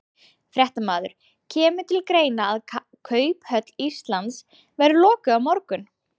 Fréttamaður: Kemur til greina að Kauphöll Íslands verði lokuð á morgun?